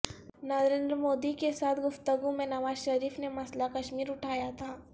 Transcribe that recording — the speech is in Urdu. نریندر مودی کے ساتھ گفتگو میں نواز شریف نے مسئلہ کشمیر اٹھایا تھا